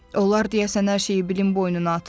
Onlar deyəsən hər şeyi Bilin boynuna atırlar.